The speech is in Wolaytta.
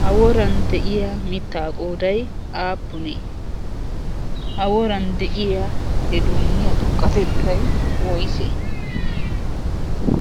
ha woran de7iya mittaa qoodai aappunee? ha woran de7iya he dunniyaa xukkatettai woisse?